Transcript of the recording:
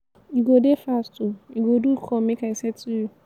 you go dey fast o you go do come make i settle you.